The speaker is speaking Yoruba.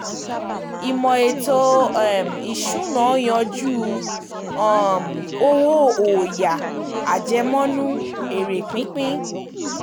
Ìmò ètò um ìsúná yanjú um owó ọ̀yà, àjẹmọ́nú, èrè pípín.